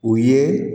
O ye